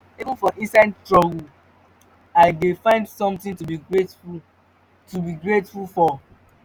even for inside struggle i dey find something to be grateful to be grateful for